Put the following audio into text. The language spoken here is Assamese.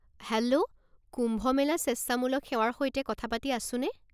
হেল্ল' কুম্ভ মেলা স্বেচ্ছামূলক সেৱাৰ সৈতে কথা পাতি আছোনে?